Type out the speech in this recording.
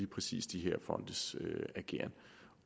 præcis de her fondes ageren